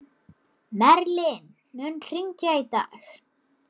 Merlin, mun rigna í dag?